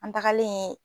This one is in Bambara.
An tagalen